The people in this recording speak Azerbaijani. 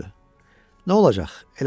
Nə olacaq?